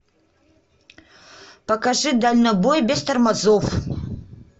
покажи дальнобой без тормозов